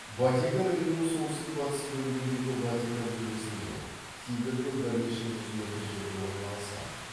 ватикан римнің солтүстік батыс бөлігіндегі ватикан төбесінде тиберден бірнеше жүз метр жерде орналасқан